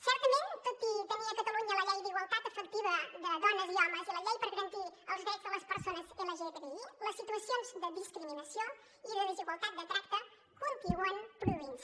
certament tot i tenir a catalunya la llei d’igualtat efectiva de dones i homes i la llei per garantir els drets de les persones lgtbi les situacions de discriminació i de desigualtat de tracte continuen produint se